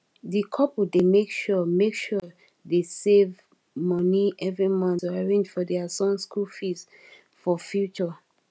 di couple dey make sure make sure they save money every month to arrange for their son school fees for future